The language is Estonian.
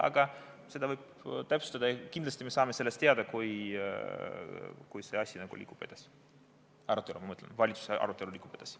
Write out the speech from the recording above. Aga seda võib täpsustada ja kindlasti me saame seda teada, kui see asi liigub edasi, ma mõtlen, valitsuse arutelu liigub edasi.